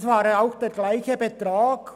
Es ging auch um denselben Betrag.